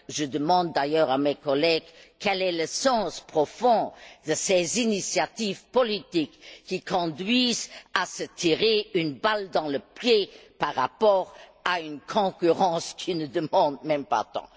Je demande d'ailleurs à mes collègues quel est le sens profond de ces initiatives politiques qui conduisent à se tirer une balle dans le pied par rapport à une concurrence qui n'en demande pas tant.